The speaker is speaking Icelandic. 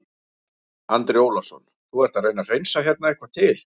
Andri Ólafsson: Þú ert að reyna að hreinsa hérna eitthvað til?